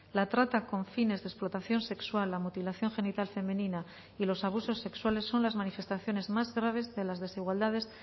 la trata con fines de explotación sexual la mutilación genital femenina y los abusos sexuales son las manifestaciones más graves de las desigualdades